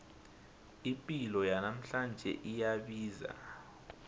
ipilo yanamhlanje iyabiza